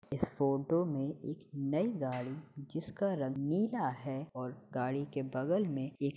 इस फोटो में एक नई गाड़ी जिसका रंग नीला है और गाड़ी के बगल में एक --